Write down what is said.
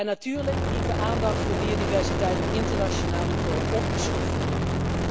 En natuurlijk dient de aandacht voor biodiversiteit op internationaal niveau opgeschroefd te worden.